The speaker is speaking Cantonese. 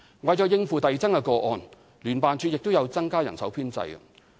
為應付遞增的個案，聯辦處亦有增加人手編制。